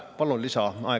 Palun lisaaega.